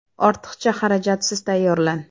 Ortiqcha xarajatsiz tayyorlan!